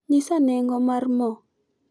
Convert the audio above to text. nyisa nengo mar mo